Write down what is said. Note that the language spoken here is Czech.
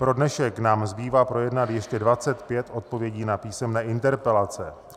Pro dnešek nám zbývá projednat ještě 25 odpovědí na písemné interpelace.